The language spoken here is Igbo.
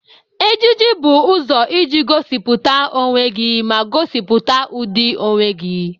Ejiji bụ ụzọ iji gosipụta onwe gị ma gosipụta ụdị onwe gị.